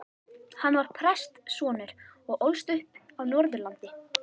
Hann var prestssonur og ólst upp á Norðurlandi.